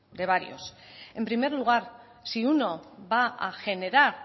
de varios en primer lugar si uno va a generar